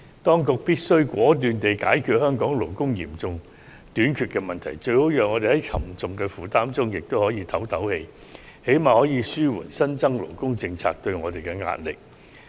當局必須果斷地解決香港勞工嚴重短缺的問題，好讓我們在沉重的負擔中透一口氣，最低限度也可紓緩新增勞工政策對我們造成的壓力。